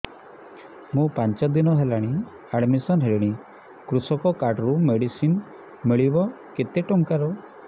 ମୁ ପାଞ୍ଚ ଦିନ ହେଲାଣି ଆଡ୍ମିଶନ ହେଲିଣି କୃଷକ କାର୍ଡ ରୁ ମେଡିସିନ ମିଳିବ କେତେ ଟଙ୍କାର